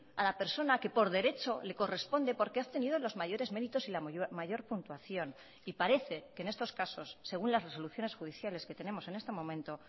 a la persona que por derecho le corresponde porque ha obtenido los mayores méritos y la mayor puntuación y parece que en estos casos según las resoluciones judiciales que tenemos en este momento